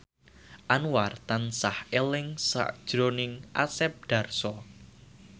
Anwar tansah eling sakjroning Asep Darso